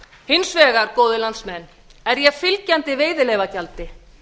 hins vegar góðir landsmenn er ég fylgjandi veiðileyfagjaldi